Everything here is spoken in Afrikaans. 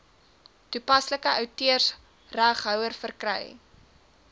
toepaslike outeursreghouer verkry